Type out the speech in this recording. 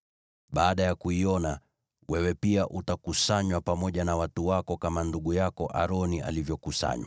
Baada ya kuiona, wewe pia utakusanywa pamoja na watu wako kama ndugu yako Aroni alivyokusanywa,